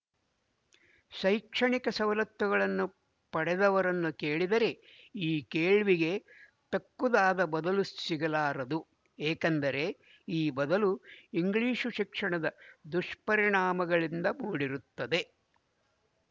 ಶೈಕ್ಷಣಿಕ ಸವಲತ್ತುಗಳನ್ನು ಪಡೆದವರನ್ನು ಕೇಳಿದರೆ ಈ ಕೇಳ್ವಿಗೆ ತಕ್ಕುದಾದ ಬದಲು ಸಿಗಲಾರದು ಏಕೆಂದರೆ ಈ ಬದಲು ಇಂಗ್ಲಿಶು ಶಿಕ್ಷಣದ ದುಶ್ಪರಿಣಾಮಗಳಿಂದ ಮೂಡಿರುತ್ತದೆ